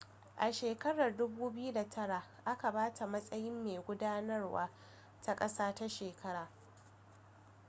a shekarar 2009 aka ba ta matsayin mai gudanarwa ta ƙasa ta shekarar